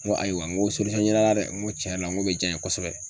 N ko ayiwa n ko ɲini a la dɛ, n ko tiɲɛ yɛrɛ la n ko be diya n ye kosɛbɛ.